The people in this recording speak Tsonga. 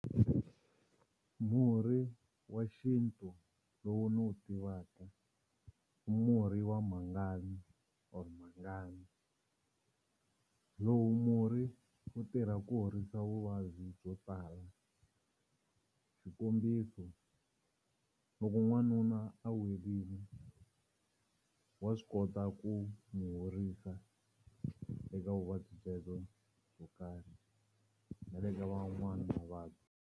Murhi wa xintu lowu ni wu tivaka i murhi wa mhangani or mhangani lowu murhi wu tirha ku horisa vuvabyi byo tala xikombiso loko n'wanuna a welini wa swi kota ku n'wi horisa eka vuvabyi byebyo byo karhi na le ka man'wana mavabyi.